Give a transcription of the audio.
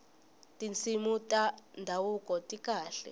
tinsimu ta ndhavuko ti kahle